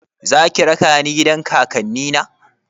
Zaki raka ni gidan kakanni na?